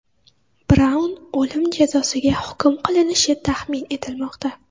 Braun o‘lim jazosiga hukm qilinishi taxmin etilmoqda.